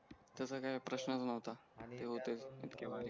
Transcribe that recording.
त्याच्या काय प्रश्ननच नव्हता